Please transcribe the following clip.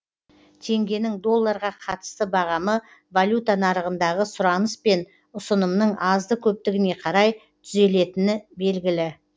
теңгенің долларға қатысты бағамы валюта нарығындағы сұраныс пен ұсынымның азды көптігіне қарай түзелетіні белгілі